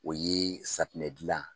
O ye safunɛ dilan